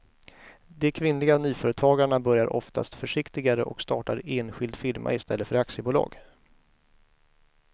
De kvinnliga nyföretagarna börjar oftast försiktigare och startar enskild firma i stället för aktiebolag.